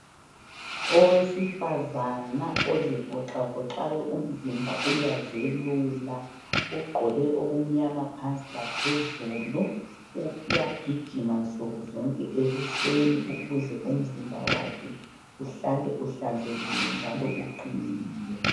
Owesifazana ozivoxavoxayo umzimba uyazelula ugqoke okumnyama phansi laphezulu uyagijima nsuku zonke ekuseni ukuze umzimba wakhe uhlale uhlanzekile njalo uqinile.